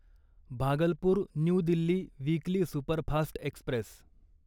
Bhagalpur New Delhi weekly superfast Express